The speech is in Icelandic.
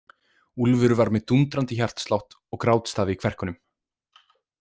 Úlfur var með dúndrandi hjartslátt og grátstafi í kverkunum.